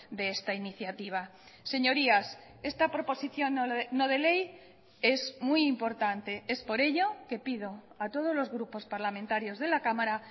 de esta iniciativa señorías esta proposición no de ley es muy importante es por ello que pido a todos los grupos parlamentarios de la cámara